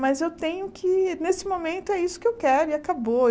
Mas eu tenho que, nesse momento, é isso que eu quero e acabou.